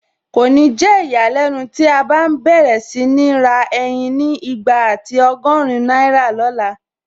Kò ní jẹ́ ìyàlẹ́nu tí a bá n bẹ̀rẹ̀ sí ní ra ẹyin ni igba àti ọgọ́rin náírà lọ̀la